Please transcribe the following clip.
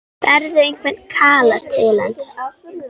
Berðu einhvern kala til hans?